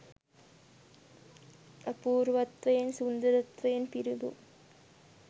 අපූර්වත්වයෙන් සුන්දරත්වයෙන් පිරිපුන්